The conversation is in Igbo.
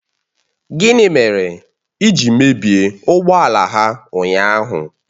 Gịnị mere ị ji mebie ụgbọ ala ha ụnyahụ?